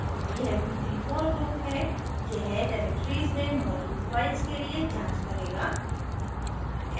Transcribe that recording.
यह भीतरी for loop है यह directories में मौजूद files के लिए जाँच करेगा